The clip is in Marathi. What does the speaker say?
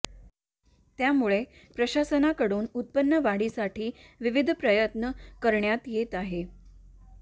त्यामुळे प्रशासनाकडून उत्पन्न वाढीसाठी विविध प्रयत्न करण्यात येत आहेत